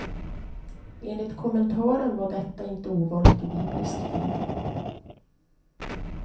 Enligt kommentaren var detta inte ovanligt i biblisk tid.